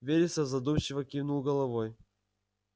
вересов задумчиво кивнул головой